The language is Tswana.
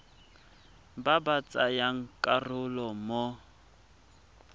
ba ba tsayang karolo mo